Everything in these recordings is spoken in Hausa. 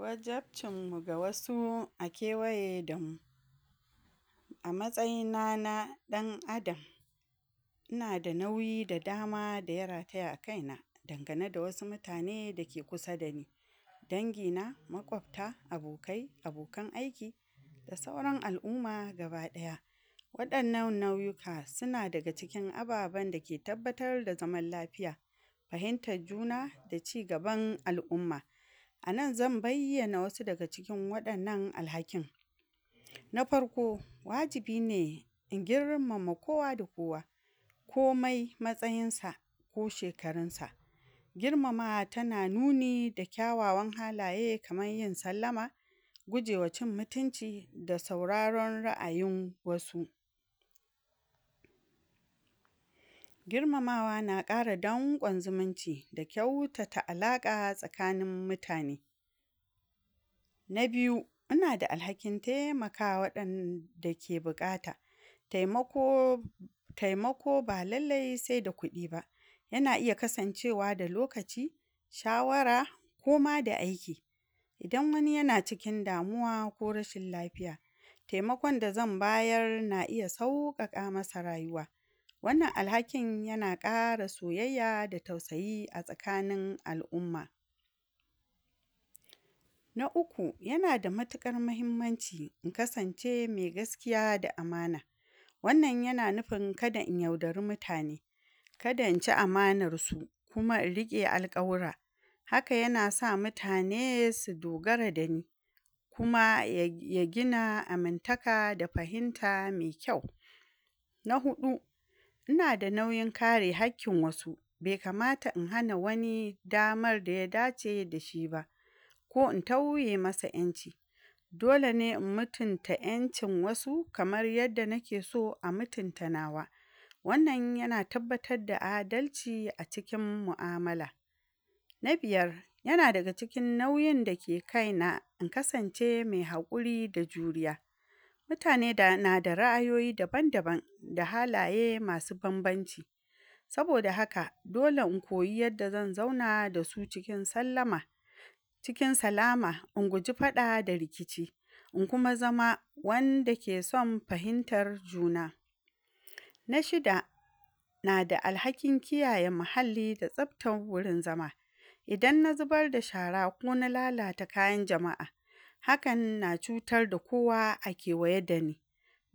Wajabcinmmu ga wasu a kewaye da mu, a matsayina na ɗan adam ina da nauyi da dama da ya rataya akaina, dan gane da wasu mutane da ke kusa da ni, dangina, maƙwafta, abokai, abokan aiki da sauran al'umma gaba ɗaya, waɗannan nauyuka sina daga cikin ababen da ke tabbar da zaman lafiya, fahintaj juna da cigaban al'umma, anan zan bayyana wasu daga cikin waɗannan alhakin na farko: Wajibi ne in girmama kowa da kowa komai matsayinsa ko shekarunsa, girmama tana nuni da kyawawan halaye kamay yin sallama, gujewa cin mutinci, da sauraron ra'ayin wasu, girmamawa na ƙara danƙom zumunci, da kyautata alaƙa tsakanin mutane. Na biyu; Inada alhakin taimakawa waɗanda ke buƙata taimako taimako ba lalle sai da kuɗi ba, yana iya kasancewa da lokaci, shawara, koma da aiki, idan wani yana cikin damuwa ko rashin lafiya taimakon da zan bayar na iya sauƙaƙa masa rayuwa, wannan alhakin yana ƙara soyayya da tausayi a tsakanin al'umma. Na uku; Yana da matiƙar mahimmanci in kasance me gaskiya da amana, wannan yana nifin kada in yaudari mutane, kada in ci amanarsu, kuma in riƙe alƙawura, haka yana sa mutane su dogara da ni, kuma ya... ya gina amintaka da fahinta me kyau. Na huɗu: Ina da nauyin kare hakkin wasu, be kamata in hana wani damar da ya dace da shi ba, ko in tauye masa ƴanci, dole ne in mutunta ƴancin wasu kamar yadda nike so a mutunta nawa, wannan yana tabbatad da adalci a cikin mu'amala. Na biyar: Yana daga cikin nauyin da ke kaina in kasance me haƙuri da juriya, mutane dana....nada ra'ayoyi daban daban da halaye masu banbanci, saboda haka dole in koyi yadda zan zauna dasu cikin sallama, cikin salama in guji faɗa da rikici, in kuma zama wanda ke son fahintar juna. Na shida: Nada alhakin kiyaye mahalli da tsaftan wurin zama, idan na zubar da shara ko na lalata kayan jama'a hakan na cutar da kowa a kewaye da ni,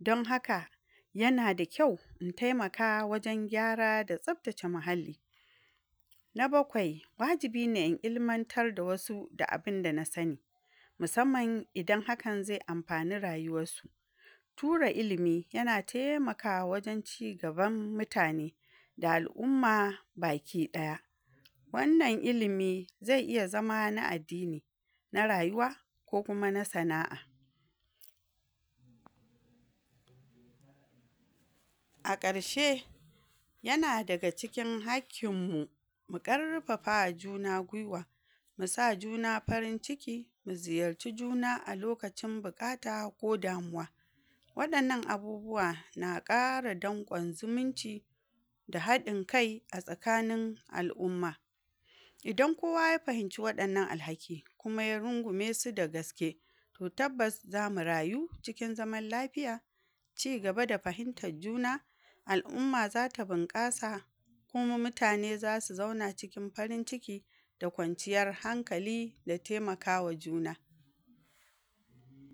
don haka yana da kyau intaimaka wajen gyara da tsaftace mahalli. Na bakwai: Wajibi ne in ilmantar da wasu da abinda na sani musamman idan hakan ze amfani rayuwassu ture ilimi yana temakawa wajen cigaban mutane, da al'umma baki ɗaya, wannan ilimi ze iya zama na addini, na rayuwa, ko kuma na sana'a. A ƙarshe yana daga cikin hakkinmmu mu ƙarfafawa juna gwiwa misa juna farin ciki, mi ziyarci juna a lokacin buƙata ko damuwa, waɗannan abubuwa na ƙara danƙon ziminci da haɗin kai a tsakanin al'umma, idan kowa ya fahimcii waɗannan alhaki kuma ya rungume su da gaske to tabbas zamu rayu cikin zaman lafiya, cigaba da fahimtaj jina, al'umma zata bunƙasa, kuma mutane zasu zauna cikin farin ciki da kwanciyar hankali da temakawa juna.